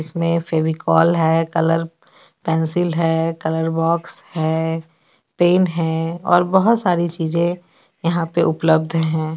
इसमें फेविकोल हे colour pencil हे कलर बॉक्स हे पेन हे और बहोत सारी चीज़े यहाँ पे उपलब्ध हे.